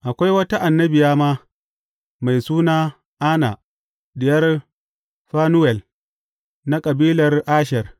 Akwai wata annabiya ma, mai suna Anna, diyar Fanuwel, na kabilar Asher.